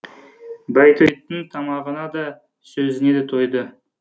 байтөбеттің тамағына да сөзіне де тойды